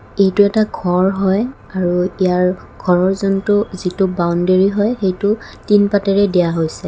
এইটো এটা ঘৰ হয় আৰু ইয়াৰ ঘৰৰ যোনটো যিটো বাওণ্ডেৰি হয় সেইটো টিন পাতেৰে দিয়া হৈছে।